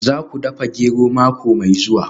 Za ku dafa gero mako mai zuwa